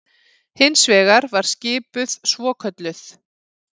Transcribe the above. Hins vegar var skipuð svokölluð